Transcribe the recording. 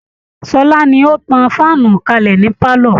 Ṣọlá ni ó tan fáànù kalẹ̀ ní pálọ̀